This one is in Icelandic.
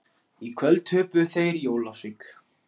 Í kvöld töpuðu þeir í Ólafsvík.